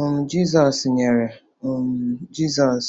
um Jizọs nyere um Jizọs